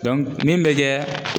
min bɛ kɛ